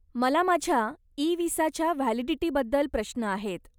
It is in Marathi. मला माझ्या इ विसाच्या व्हॅलिडिटीबद्दल प्रश्न आहेत.